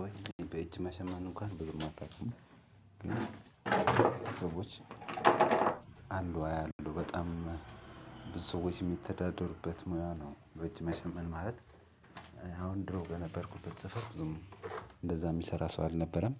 ወይ በእጅ መሸመን እንኳን ብዙም አታውቅም? ግን ሰዎች አሉ አያሉ በጣም ብዙ ሰዎች የሚተዳደሩበት ሙያ ነው። በእጅ መሸመን ማለት አሁን ድሮ በነበርኩበት ሰፈር ብዙም እንደዛ የሚሰራ ሰው አልነበረም።